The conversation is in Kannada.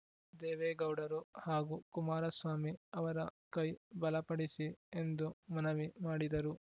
ದೇವೇಗೌಡರು ಹಾಗೂ ಕುಮಾರಸ್ವಾಮಿ ಅವರ ಕೈ ಬಲಪಡಿಸಿ ಎಂದು ಮನವಿ ಮಾಡಿದರು